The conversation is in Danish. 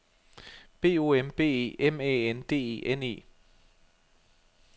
B O M B E M Æ N D E N E